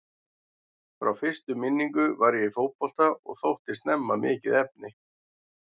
Frá fyrstu minningu var ég í fótbolta og þótti snemma mikið efni.